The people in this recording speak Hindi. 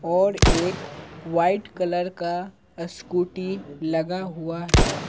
और एक वाइट कलर का स्कूटी लगा हुआ है।